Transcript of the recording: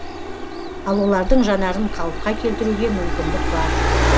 ал олардың жанарын қалыпқа келтіруге мүмкіндік бар